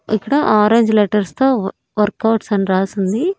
ఇక్కడ orange letters తో workouts అని రాసుంది.